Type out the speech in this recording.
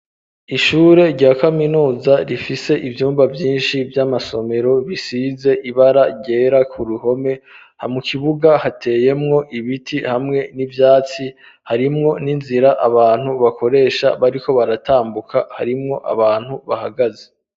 Ishure rya kaminuza rifise ivyumba byinshi vy'amasomero bisize ibara ryera ku ruhome, ha mukibuga hateyemwo ibiti hamwe n'ivyatsi harimwo n'inzira abantu bakoresha bariko baratambuka, harimwo abantu bahagaze.